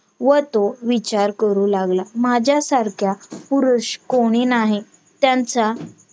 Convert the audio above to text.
व तो विचार करू लागला. माझ्या सारखा पुरुष कोणी नाही त्यांचा